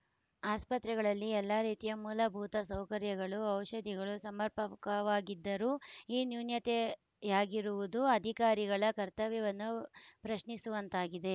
ಆಸ್ಪತ್ರೆಗಳಲ್ಲಿ ಎಲ್ಲಾ ರೀತಿಯ ಮೂಲಭೂತ ಸೌಕರ್ಯಗಳು ಔಷದಿಗಳು ಸಮರ್ಪಕವಾಗಿದ್ದರೂ ಈ ನೂನ್ಯತೆಯಾಗಿರುವುದು ಅಧಿಕಾರಿಗಳ ಕರ್ತವ್ಯವನ್ನು ಪ್ರಶ್ನಿಸುವಂತಾಗಿದೆ